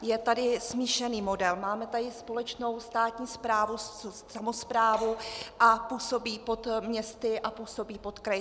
Je tady smíšený model, máme tady společnou státní správu, samosprávu a působí pod městy a působí pod kraji.